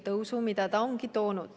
Ja seda on see toonud.